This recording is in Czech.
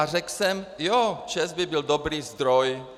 A řekl jsem: Jo, ČEZ by byl dobrý zdroj.